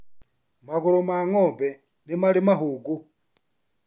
Magũrũ ma ng'ombe nĩ marĩ mahũngũ.